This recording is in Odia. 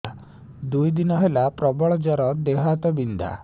ଦୁଇ ଦିନ ହେଲା ପ୍ରବଳ ଜର ଦେହ ହାତ ବିନ୍ଧା